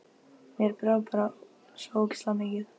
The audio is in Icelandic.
Mér brá bara svo ógeðslega mikið.